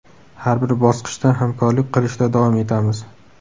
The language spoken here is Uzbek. Har bir bosqichda hamkorlik qilishda davom etamiz.